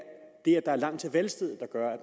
det er langt til valgstedet der gør